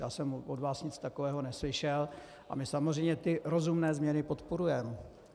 Já jsem od vás nic takového neslyšel a my samozřejmě ty rozumné změny podporujeme.